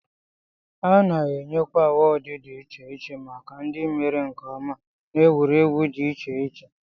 A na-enyekwa awọọd dị iche iche maka ndị mere nke ọma n'egwuregwu dị iche iche